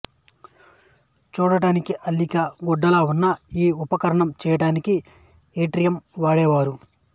చూడడానికి అల్లిక గుడ్డలా ఉన్న ఈ ఉపకరణం చెయ్యడానికి యిట్రియం వాడేవారు